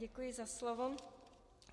Děkuji za slovo.